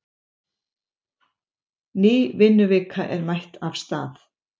Ný vinnuvika er mætt af stað.